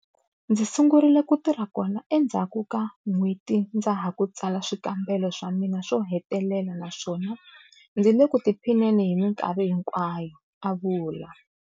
Ndzi sungurile ku tirha kona endzhaku ka n'hweti ndza ha ku tsala swikambelo swa mina swo hetelela naswona ndzi le ku tiphineni hi mikarhi hikwayo, a vula.